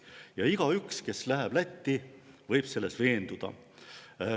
Ja igaüks, kes läheb Lätti, võib selles veenduda.